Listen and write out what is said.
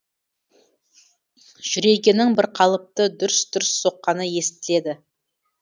жүрегенің бірқалыпты дүрс дүрс соққаны естіледі